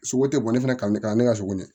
Sogo tɛ bɔn ne fana kan ne ka ne ka sogo minɛ